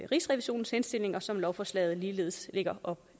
rigsrevisionens henstillinger som lovforslaget ligeledes lægger op